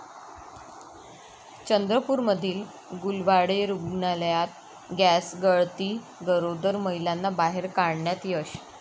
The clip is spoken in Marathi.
चंद्रपूरमधील गुलवाडे रुग्णालयात गॅसगळती, गरोदर महिलांना बाहेर काढण्यात यश